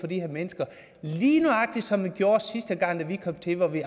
de her mennesker lige nøjagtig som vi gjorde sidste gang da vi kom til hvor vi